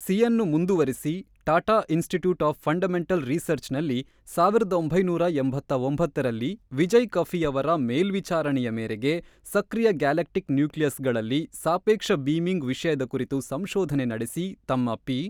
ಸಿಯನ್ನು ಮುಂದುವರಿಸಿ Tata Institute of Fundamental ರೀಸರ್ಚ್ನಲ್ಲಿ ಒಂದು ಸಾವಿರದ ಒಂಬೈನೂರ ಎಂಬತ್ತ್ ಒಂಬತ್ತ ರಲ್ಲಿ ವಿಜಯ್ ಕಫಿಯವರ ಮೇಲ್ವಿಚಾರಣೆಯ ಮೇರೆಗೆ ಸಕ್ರಿಯ ಗ್ಯಾಲಕ್ಟಿಕ್ ನ್ಯೂಕ್ಲಿಯಸ್ಗಳಲ್ಲಿ ಸಾಪೇಕ್ಷ ಬೀಮಿಂಗ್ ವಿಷಯದ ಕುರಿತು ಸಂಷೋಧನೆ ನಡೆಸಿ ತಮ್ಮ ಪಿ.